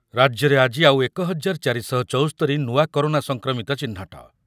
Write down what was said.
ରାଜ୍ୟରେ ଆଜି ଆଉ ଏକ ହଜାର ଚାରି ଶହ ଚୌସ୍ତୋରି ନୂଆ କରୋନା ସଂକ୍ରମିତ ଚିହ୍ନଟ